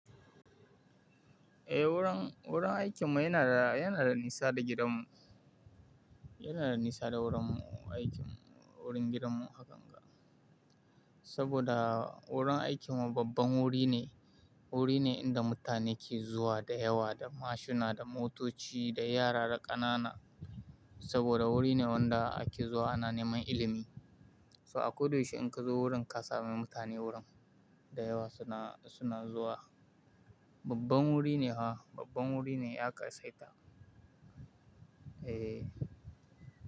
Eh, wurin, wurin aikinmu yana da, yana da nisa da gidanmu. Yana da nisa da wurin aikinmu, wurin gidanmu hakanga. Saboda wurin aikinmu babban wuri ne. Wuri ne inda mutane ke zuwa da yawa, da mashina, da motoci, da yara da ƙanana. Saboda wuri ne wanda ake zuwa ana neman ilimi. So a koda yaushe inkazo wurin ka sami mutane wurin da yawa suna, suna zuwa. Babban wuri ne ha, babban wuri ne ya ƙasaita. Eh.